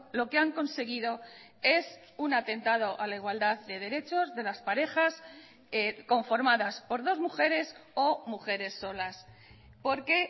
lo que han conseguido es un atentado a la igualdad de derechos de las parejas conformadas por dos mujeres o mujeres solas porque